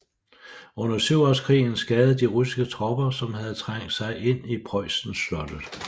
Under syvårskrigen skadede de russiske tropper som havde trængt sig ind i Preussen slottet